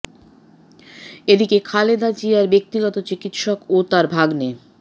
এদিকে খালেদা জিয়ার ব্যক্তিগত চিকিৎসক ও তাঁর ভাগনে ডা